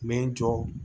N bɛ n jɔ